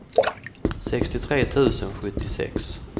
sextiotre tusen sjuttiosex